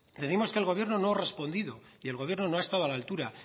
decimos que el gobierno no ha respondido y el gobierno no ha estado a la altura